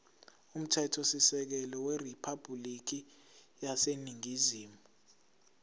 umthethosisekelo weriphabhulikhi yaseningizimu